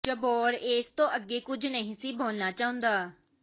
ਜੱਬਾਰ ਏਸ ਤੋਂ ਅੱਗੇ ਕੁਝ ਨਹੀਂ ਸੀ ਬੋਲਣਾ ਚਾਹੁੰਦਾ